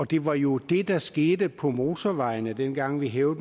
det var jo det der skete på motorvejene dengang vi hævede